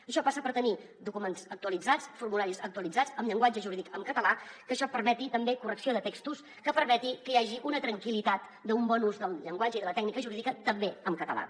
això passa per tenir documents actualitzats formularis actualitzats amb llenguatge jurídic en català que això permeti també correcció de textos que permeti que hi hagi una tranquil·litat d’un bon ús del llenguatge i de la tècnica jurídica també en català